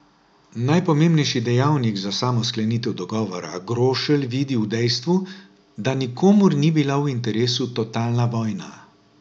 Najpomembnejši dejavnik za samo sklenitev dogovora Grošelj vidi v dejstvu, da nikomur ni bila v interesu totalna vojna.